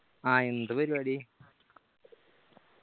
ആ എന്ത് പരിവാടി